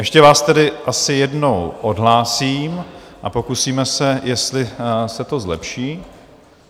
Ještě vás tedy asi jednou odhlásím a pokusíme se, jestli se to zlepší.